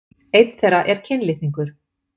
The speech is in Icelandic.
Einn þeirra er kynlitningur.